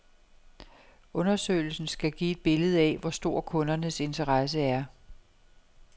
Undersøgelsen skal give et billede af, hvor stor kundernes interesse er.